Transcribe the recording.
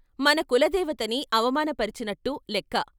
మన కులదేవతని అవమానపరచినట్టు లెక్క.